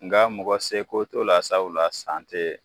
Nka mɔgɔ se ko t'o la sabula san te